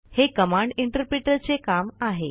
हे command interpreter चे काम आहे